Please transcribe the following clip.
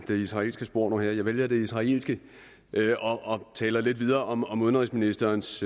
det israelske spor jeg vælger det israelske og taler lidt videre om om udenrigsministerens